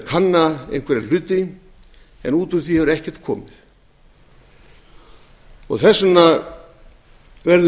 kanna einhverja hluti en út úr því hefur ekkert komið þess vegna verðum